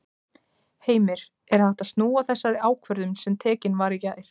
Heimir: Er hægt að snúa þessari ákvörðun sem tekin var í gær?